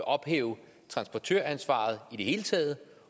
ophæve transportøransvaret i det hele taget